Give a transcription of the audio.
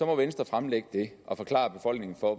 venstre fremlægge det og forklare befolkningen